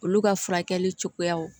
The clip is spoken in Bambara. Olu ka furakɛli cogoyaw